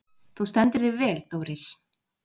Þú stendur þig vel, Doris!